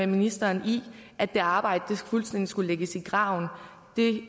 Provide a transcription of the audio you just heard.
ministeren i at det arbejde fuldstændig skulle lægges i graven det